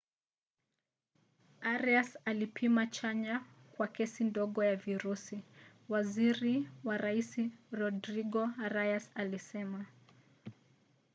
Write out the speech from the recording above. arias alipima chanya kwa kesi ndogo ya virusi waziri wa rais rodrigo arias alisema